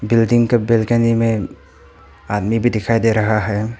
Building का balcony में आदमी भी दिखाई दे रहा है।